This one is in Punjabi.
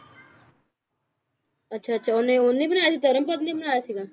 ਅੱਛਾ ਅੱਛਾ ਓਹਨੇ ਓਹਨੇ ਬਣਾਇਆ ਸੀ, ਧਰਮਪਦ ਨੇ ਬਣਾਇਆ ਸੀਗਾ?